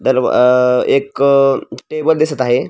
दरवा अ एक टेबल दिसत आहे.